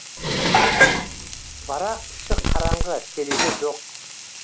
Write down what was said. барақ іші қараңғы терезе жоқ